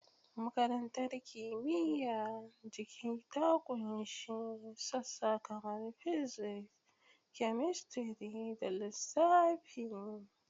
Makarantar Kimiyyar Jiki ta ƙunshi sassa kamar Physics, Chemistry, da Lissafi.